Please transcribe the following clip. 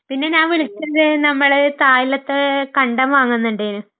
പിന്നെ ഞാൻ വിളിച്ചത് നമ്മള് തായില്യത്ത് കണ്ടം വാങ്ങുന്നുണ്ടായ്ന്ന്.